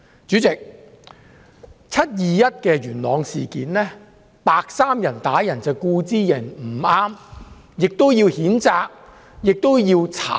主席，"七二一"元朗事件，白衣人打人固然不對，亦要譴責及調查。